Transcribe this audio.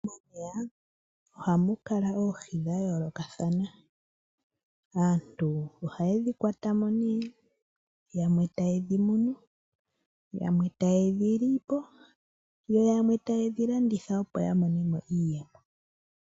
Momeya ohamu kala oohi dhayoolokathana aantu ohayedhi kwata mo dhimwe tayedhi munu, yamwe tayedhi lipo, yamwe tayedhi landitha opo yamone mo iiyemo.